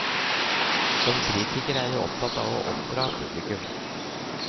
Som kritiker er jeg opptatt av å oppdra publikum.